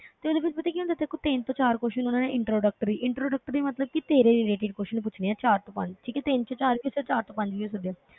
ਤੇ ਉਹਦੇ ਵਿੱਚ ਪਤਾ ਕੀ ਹੁੰਦਾ ਹੈ ਤੇਰੇ ਕੋਲ ਤਿੰਨ ਤੋਂ ਚਾਰ question ਉਹਨਾਂ ਨੇ introductory introductory ਮਤਲਬ ਕਿ ਤੇਰੇ relative question ਪੁੱਛਣੇ ਹੈ ਚਾਰ ਤੋਂ ਪੰਜ, ਠੀਕ ਹੈ ਤਿੰਨ ਤੋਂ ਚਾਰ ਵੀ ਹੋ ਸਕਦੇ ਚਾਰ ਤੋਂ ਪੰਜ ਵੀ ਹੋ ਸਕਦੇ ਆ,